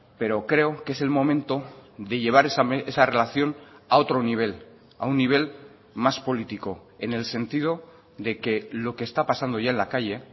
pero creo que es el momento de llevar esa relación a otro nivel a un nivel más político en el sentido de que lo que está pasando ya en la calle